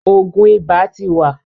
òògùn ibà tí wa.